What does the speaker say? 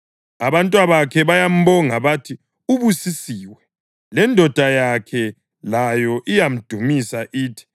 Abantwabakhe bayambonga bathi ubusisiwe; lendoda yakhe layo iyamdumisa ithi,